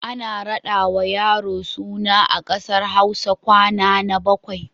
Ana raɗawa yaro suna a ƙasar Hausa kwana na bakwai.